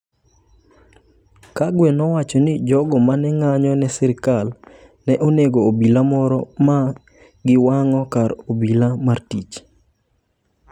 Kagwe nowacho ni Jogo ma ne ng'anyo ne sirkal ne onego obila moro mi giwang'o kar obila mar tich.